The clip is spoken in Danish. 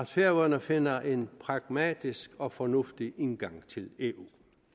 færøerne finder en pragmatisk og fornuftig indgang til eu